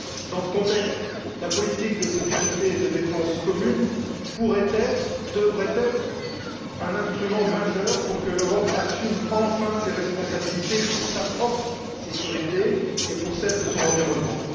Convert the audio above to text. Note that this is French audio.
Dans ce contexte, la politique de sécurité et de défense commune pourrait et devrait être un instrument majeur pour que l'Europe assume enfin ses responsabilités pour sa propre sécurité et pour celle de son environnement.